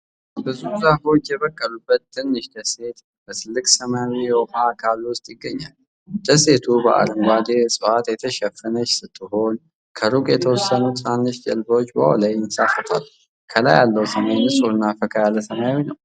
ብዙ ዛፎች የበቀሉበት ትንሽ ደሴት በትልቅ ሰማያዊ የውሃ አካል ውስጥ ይገኛል። ደሴቲቱ በአረንጓዴ ዕፅዋት የተሸፈነች ስትሆን፣ ከሩቅ የተወሰኑ ትናንሽ ጀልባዎች በውሃው ላይ ይንሳፈፋሉ። ከላይ ያለው ሰማይ ንጹህና ፈካ ያለ ሰማያዊ ነው።